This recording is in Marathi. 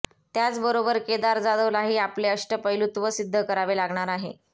त्याचबरोबर केदार जाधवलाही आपले अष्टपैलूत्व सिद्ध करावे लागणार आहे